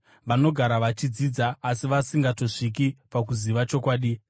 vanogara vachidzidza asi vasingatongosviki pakuziva chokwadi.